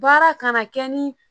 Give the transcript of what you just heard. Baara kana kɛ ni